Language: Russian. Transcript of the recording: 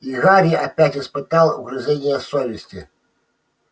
и гарри опять испытал угрызения совести